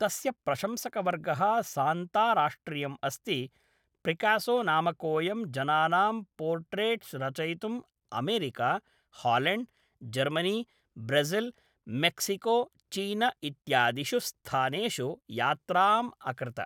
तस्य प्रशंसकवर्गः सान्ताराष्ट्रियम् अस्ति प्रिकासो नामकोयं जनानां पोर्ट्रैट्स् रचयितुं America, Holland, Germany, Brazil, Mexico, चीन इत्यादिषु स्थानेषु यात्राम् अकृत।